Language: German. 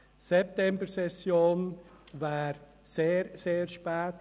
Die Septembersession wäre sehr, sehr spät.